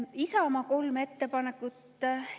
Isamaa kolm ettepanekut.